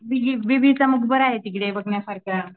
बरं आहे मग तिकडे बघण्यासारखं.